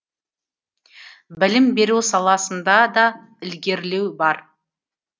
білім беру саласында да ілгерілеу бар